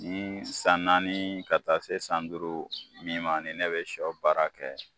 Nii san naani ka taa se san duuru min ma ni ne bɛ sɔ baara kɛ